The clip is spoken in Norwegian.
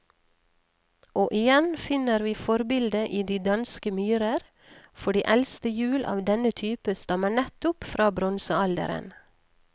Og igjen finner vi forbildet i de danske myrer, for de eldste hjul av denne type stammer nettopp fra bronsealderen.